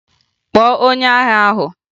Kpọọ onye agha ahụ!